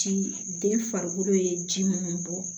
Ji den farikolo ye ji munnu bɔ